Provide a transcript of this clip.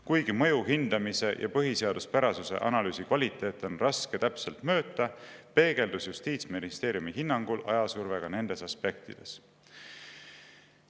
Kuigi mõju hindamise ja põhiseaduspärasuse analüüsi kvaliteeti on raske täpselt mõõta, peegeldus Justiitsministeeriumi hinnangul ajasurve ka nendes aspektides.